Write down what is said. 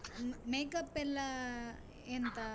ಅಹ್ makeup ಎಲ್ಲಾ ಎಂತ?